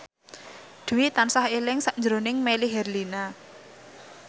Dwi tansah eling sakjroning Melly Herlina